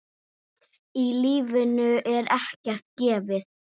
Í lífinu er ekkert gefið.